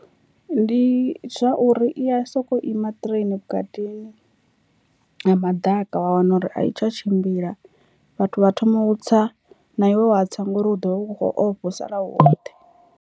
Ndi zwa uri i ya sokou ima train vhukatini ha maḓaka wa wana uri a i tsha tshimbila vhathu vha thome u tsa na iwe wa tsa ngori u ḓovha u kho ofha u sala u woṱhe.